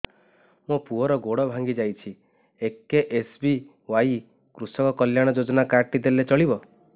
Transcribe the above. ମୋ ପୁଅର ଗୋଡ଼ ଭାଙ୍ଗି ଯାଇଛି ଏ କେ.ଏସ୍.ବି.ୱାଇ କୃଷକ କଲ୍ୟାଣ ଯୋଜନା କାର୍ଡ ଟି ଦେଲେ ଚଳିବ